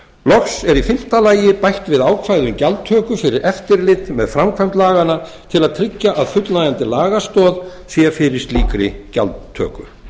er í fimmta lagi bætt er við ákvæði um gjaldtöku fyrir eftirlit með framkvæmd laganna til að tryggja að fullnægjandi lagastoð sé fyrir slíkri gjaldtöku